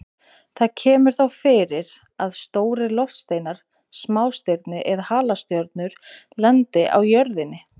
Það kemur þó fyrir að stórir loftsteinar, smástirni eða halastjörnur lendi á jörðinni.